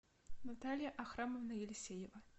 наталья ахрамовна елисеева